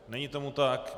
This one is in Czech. Není tomu tak.